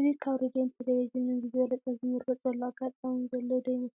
እዚ ካብ ሬድዮን ቴለቪዥንን ብዝበለፀ ዝምረፀሉ ኣጋጣሚ ዘሎ ዶ ይመስለኩም?